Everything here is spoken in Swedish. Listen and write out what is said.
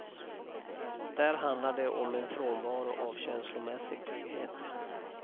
Där handlar det om en frånvaro av känslomässig trygghet.